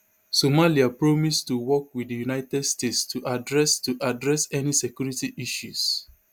somaliapromise to work wit di united states to address to address any security issues